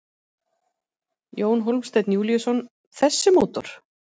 Jón Hólmsteinn Júlíusson: Þessi mótor?